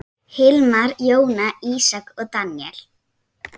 Hilmar, Jóna, Ísak og Daníel.